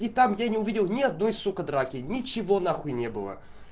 и там я не увидел не только драки ничего на хуй не было